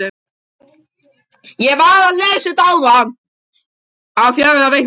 Á fjögurra vikna fresti var hún flutt upp um hæð.